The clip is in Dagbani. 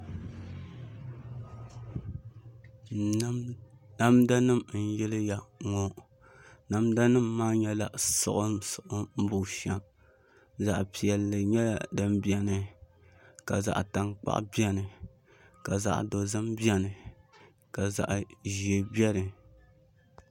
Namda nim n yiliya ŋɔ namda nim maa nyɛla siɣim siɣim bushɛm zaɣ piɛlli nyɛla din biɛni zaɣ dozim biɛni ka zaɣ ʒiɛ biɛni